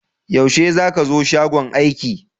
Yaushe za ka zo shagon aiki?